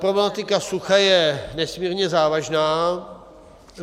Problematika sucha je nesmírně závažná.